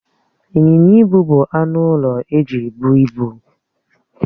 Ịnyịnya ibu bụ anụ ụlọ eji ebụ ibu.